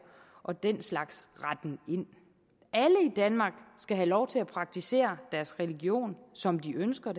og den slags retten ind alle i danmark skal have lov til at praktisere deres religion som de ønsker